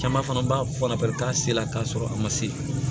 Caman fana b'a fɔ la bɛ taa se la k'a sɔrɔ a ma se